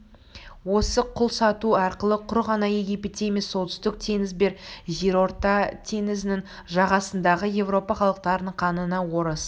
осы құл сату арқылы құр ғана египетте емес солтүстік теңіз бен жерорта теңізінің жағасындағы европа халықтарының қанына орыс